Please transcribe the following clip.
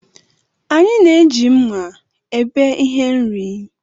Anyị na-eji mma ebe ihe nri